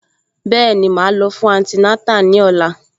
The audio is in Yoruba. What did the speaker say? Bẹ́ẹ̀ni, màá lọ fún antinátà ní ọ̀la